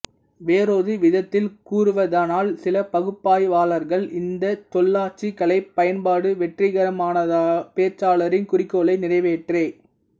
வேறொரு விதத்தில் கூறுவதானால் சில பகுப்பாய்வாளர்கள் இந்த சொல்லாட்சிக் கலை பயன்பாடு வெற்றிகரமானதா பேச்சாளரின் குறிக்கோளை நிறைவேற்ற